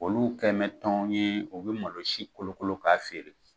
Olu kɛmɛ tɔn ye u bɛ malosi kolokolo k'a feere.